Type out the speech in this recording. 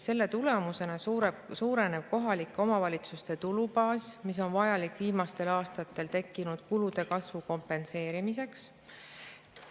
Selle tulemusena suureneb kohalike omavalitsuste tulubaas, mis on vajalik viimastel aastatel tekkinud kulude kasvu kompenseerimiseks.